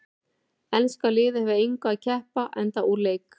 Enska liðið hefur að engu að keppa enda úr leik.